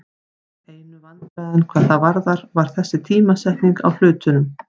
Einu vandræðin hvað það varðar var þessi tímasetning á hlutunum.